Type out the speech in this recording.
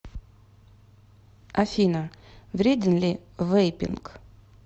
афина вреден ли вейпинг